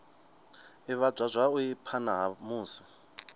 ivhadzwa zwavhui phana ha musi